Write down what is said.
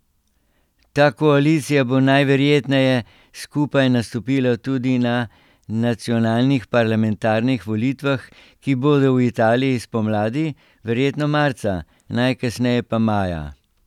Ta koalicija bo najverjetneje skupaj nastopila tudi na nacionalnih parlamentarnih volitvah, ki bodo v Italiji spomladi, verjetno marca, najkasneje pa maja.